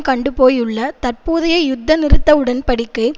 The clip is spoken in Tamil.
கண்டுபோயுள்ள தற்போதைய யுத்த நிறுத்த உடன் படிக்கை